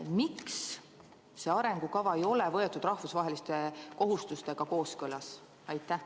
Miks see arengukava ei ole võetud rahvusvaheliste kohustustega kooskõlas?